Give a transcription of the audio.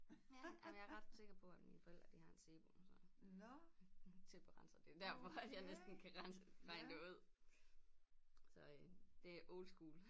Ja ah men jeg er ret sikker på at mine forældre de har en Sebo så tæpperenser det jo derfor at jeg næsten kan rense regne det ud så øh det er old school